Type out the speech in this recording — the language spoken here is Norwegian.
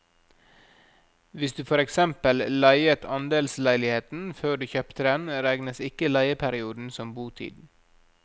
Hvis du for eksempel leiet andelsleiligheten før du kjøpte den, regnes ikke leieperioden som botid.